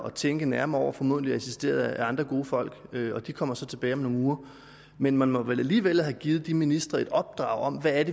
at tænke nærmere over formodentlig assisteret af andre gode folk og de kommer så tilbage om nogle uger men man må vel alligevel have givet de ministre et opdrag om hvad